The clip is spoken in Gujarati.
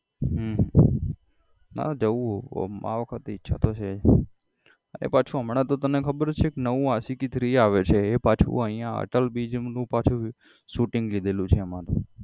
હમ મારે જવું છે આમ આ વખત ઈચ્છા તો છે અને પાછું હમણાં તને તો ખબર છે નવું આશિકી three આવે છે એ પાછુ અહીંયા અટલ bridge નું shooting લીધેલું છે એમાં.